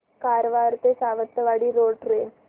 कारवार ते Sawantwadi road train